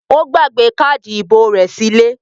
Ó gbàgbé káádì ìbò rẹ̀ sílé?